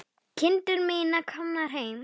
Kindur mínar komnar heim.